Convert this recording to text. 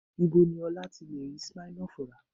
Ibo ni Ọlá ti lè rí Smirnoff rà?